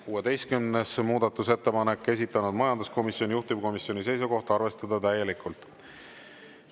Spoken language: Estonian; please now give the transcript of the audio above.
16. muudatusettepanek, esitanud majanduskomisjon, juhtivkomisjoni seisukoht on arvestada täielikult.